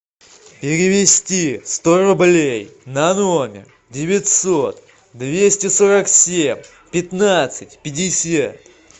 перевести сто рублей на номер девятьсот двести сорок семь пятнадцать пятьдесят